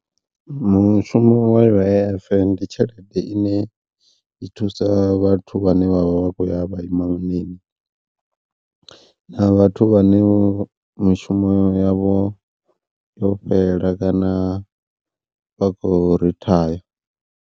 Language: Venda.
Mushumo wa U_I_F ndi tshelede ine i thusa vhathu vhane vhavha vha khou ya vha na vhathu vhane mushumo yavho yo fhela kana vha khou rithaya.